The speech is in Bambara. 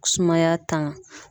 Sumaya tanga.